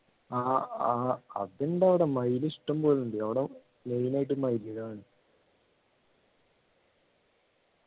ആഹ് ആഹ് അതുണ്ടാവുഡാ മയില് ഇഷ്ടംപോലെ ഉണ്ട് അവിടെ main ആയിട്ട് മയിലിനെ കാണു